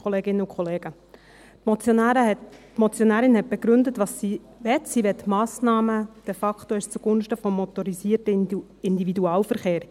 Sie möchte de facto Massnahmen zugunsten des motorisierten Individualverkehrs.